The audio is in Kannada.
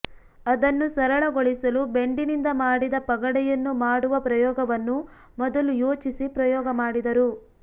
ಅದನ್ನು ಸರಳಗೊಳಿಸಲು ಬೆಂಡಿನಿಂದ ಮಾಡಿದ ಪಗಡೆಯನ್ನು ಮಾಡುವ ಪ್ರಯೋಗವನ್ನು ಮೊದಲು ಯೋಚಿಸಿ ಪ್ರಯೋಗ ಮಾಡಿದರು